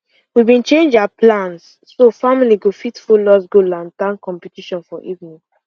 we been change our plans so family go fit follow us go lantern competition for evening